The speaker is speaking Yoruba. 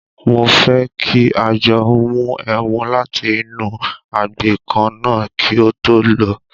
Mo fẹ́ kí a jọ mu ẹmu láti inú agbè kan náà kí o tó lọ.